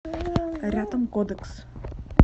рядом кодекс